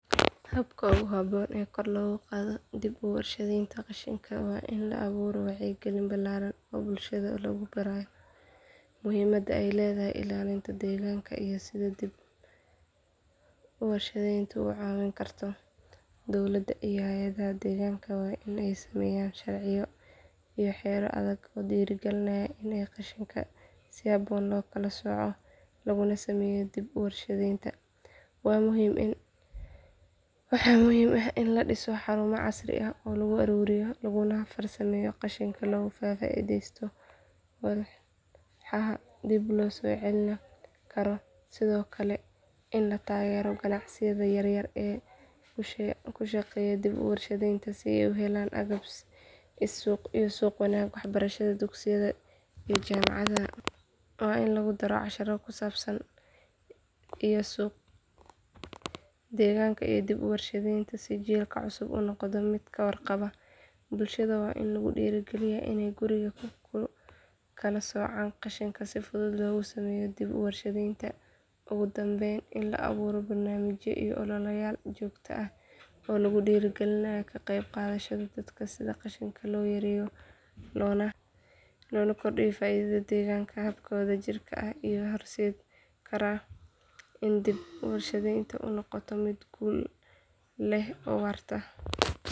Habka ugu haboon ee kor loogu qaado dib u warshadaynta qashinka waa in la abuuro wacyigelin ballaaran oo bulshada lagu barayo muhiimadda ay leedahay ilaalinta deegaanka iyo sida dib u warshadayntu u caawin karto. Dowladda iyo hay’adaha deegaanka waa in ay sameeyaan sharciyo iyo xeerar adag oo dhiirrigeliya in qashinka si habboon loo kala sooco laguna sameeyo dib u warshadaynta. Waxaa muhiim ah in la dhiso xarumo casri ah oo lagu ururiyo laguna farsameeyo qashinka si looga faa’iidaysto walxaha dib loo isticmaali karo. Sidoo kale, in la taageero ganacsiyada yaryar ee ku shaqeeya dib u warshadaynta si ay u helaan agab iyo suuqyo wanaagsan. Waxbarashada dugsiyada iyo jaamacadaha waa in lagu daro casharro ku saabsan deegaanka iyo dib u warshadaynta si jiilka cusub uu noqdo mid ka warqaba. Bulshada waa in la dhiirrigeliyaa inay guriga ku kala soocaan qashinka si fudud loogu sameeyo dib u warshadaynta. Ugu dambeyn, in la abuuro barnaamijyo iyo ololeyaal joogto ah oo lagu dhiirrigelinayo ka qeyb qaadashada dadka si qashinka loo yareeyo loona kordhiyo faa’iidada deegaanka. Habkan wadajirka ah ayaa horseedi kara in dib u warshadaynta ay noqoto mid guul leh oo waarta.